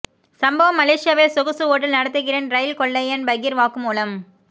சம்பவம் மலேஷியாவில் சொகுசு ஓட்டல் நடத்துகிறேன் ரயில் கொள்ளையன் பகீர் வாக்குமூலம்